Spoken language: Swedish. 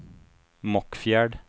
Mockfjärd